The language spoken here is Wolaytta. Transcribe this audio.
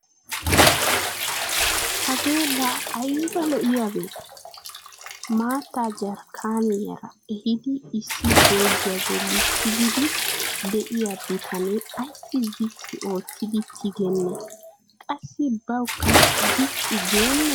Hagee la aybba lo"iyaabe! Maattaa jarkkiyaara ehiidi issi joogiya bolli tigiidi de'iyaa bitanee ayssi ziqqi oottidi tigenee? Qassi bawukka ziqqi geenee?